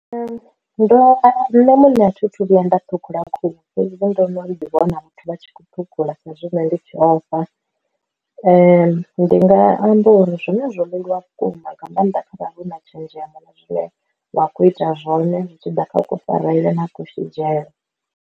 Ndo ṋne muṋe a thithu vhuya nda ṱhukhula khuhu fhedzi ndo no ḓi vhona vhathu vha tshi khou ṱhukhula sa izwi ṋne ndi tshi ofha, ndi nga amba uri zwone zwo leluwa vhukuma nga maanḓa kharali hu na tshenzhemo na zwine wa kho ita zwone zwi tshi ḓa kha kufarele na ku shidzhele.